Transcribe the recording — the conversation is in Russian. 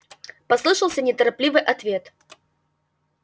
послышался неторопливый ответ